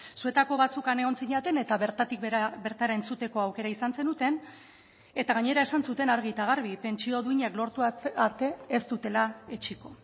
zuetako batzuk han egon zineten eta bertatik bertara entzuteko aukera izan zenuten eta gainera esan zuten argi eta garbi pentsio duinak lortu arte ez dutela etsiko